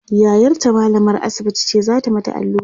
yayarta mallamar asibiti ce zata mata alluran